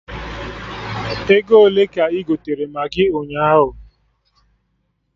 Ego ole ka ị gotere Maggị ụnyaahụ?